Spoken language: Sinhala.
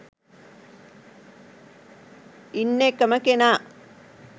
ඉන්න එකම කෙනා